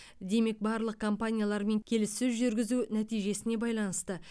демек барлық компаниялармен келіссөз жүргізу нәтижесіне байланысты